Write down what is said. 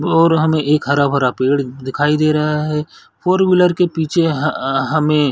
और हमें एक हरा -भरा पेड़ दिखाई दे रहा हैं । फ़ोर व्हीलर के पीछे ह हमें --